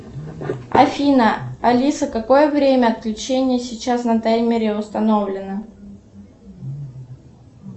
афина алиса какое время отключения сейчас на таймере установлено